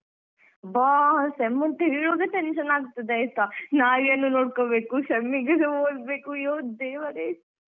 ಅಬ್ಬಾ sem ಅಂತ ಹೇಳ್ವಾಗ tension ಆಗ್ತಾದೆ ಆಯ್ತಾ ನಾಯಿಯನ್ನು ನೋಡ್ಕೋಬೇಕು sem ಗೆಸಓದ್ಬೇಕು ಅಯ್ಯೋ ದೇವರೇ.